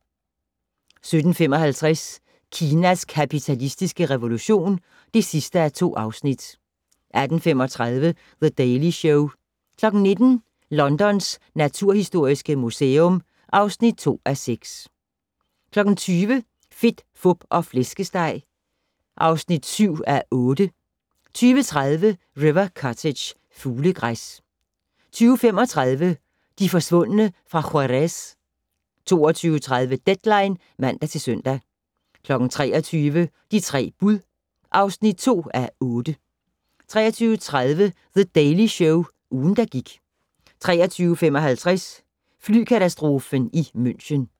17:55: Kinas kapitalistiske revolution (2:2) 18:35: The Daily Show 19:00: Londons naturhistoriske museum (2:6) 20:00: Fedt, Fup og Flæskesteg (7:8) 20:30: River Cottage - fuglegræs 20:35: De forsvundne fra Juárez 22:30: Deadline (man-søn) 23:00: De tre bud (2:8) 23:30: The Daily Show - ugen, der gik 23:55: Flykatastrofen i München